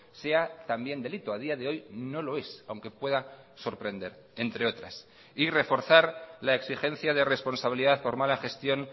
sea también delito a día de hoy no lo es aunque pueda sorprender entre otras y reforzar la exigencia de responsabilidad por mala gestión